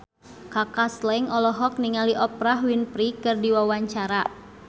Kaka Slank olohok ningali Oprah Winfrey keur diwawancara